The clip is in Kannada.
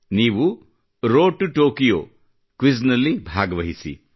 ನೀವು ರೋಡ್ ಟು ಟೊಕೊಯೋ ಕ್ವಿಜ್ ನಲ್ಲಿ ಭಾಗವಹಿಸಿ